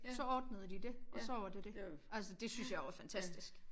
Så ordnede de dét og så var det dét. Altså det synes jeg var fantastisk